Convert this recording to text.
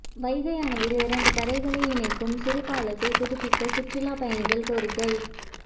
வைகை அணையில் இரண்டு கரைகளை இணைக்கும் சிறு பாலத்தை புதுப்பிக்க சுற்றுலா பயணிகள் கோரிக்கை